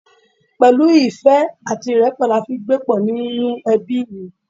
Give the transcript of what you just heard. Pẹ̀lú ìfẹ́ àti ìrẹ́pọ̀ ni a fi ń gbé pọ̀ nínú ẹbí mi